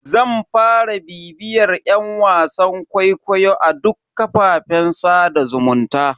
Zan fara bibiyar yan wasan kwaikwayo a duk kafafen sada zumunta.